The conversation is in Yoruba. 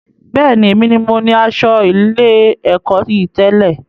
Bẹ́ẹ̀ni, èmi ní mo ní asọ ilé-èkó yìí tẹ̀lẹ́